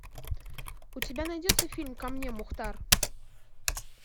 у тебя найдется фильм ко мне мухтар